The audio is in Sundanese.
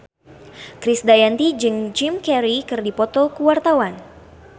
Krisdayanti jeung Jim Carey keur dipoto ku wartawan